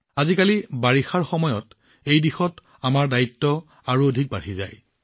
আজিকালি বাৰিষাৰ সময়ত এই দিশত আমাৰ দায়িত্ব আৰু অধিক বৃদ্ধি পায়